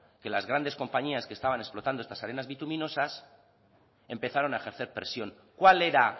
que las grandes compañías que estaban explotando estas arenas bituminosas empezaron a ejercer presión cuál era